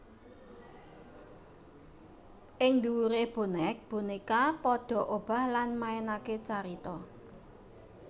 Ing dhuwure bonek boneka padha obah lan maenake carita